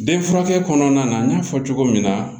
Den furakɛ kɔnɔna na n y'a fɔ cogo min na